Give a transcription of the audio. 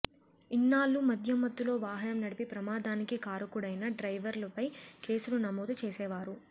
ఇన్నాళ్లూ మద్యం మత్తులో వాహనం నడిపి ప్రమాదానికి కారుకుడైన డ్రైవర్పైనే కేసులు నమోదు చేసేవారు